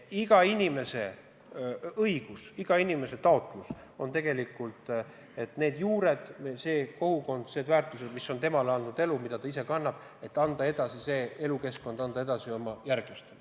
Iga inimese õigus, iga inimese taotlus on, et ta saab selle keskkonna, need juured, need kogukondsed väärtused, mis elu talle andnud on ja mida ta ise kannab, anda edasi oma järglastele.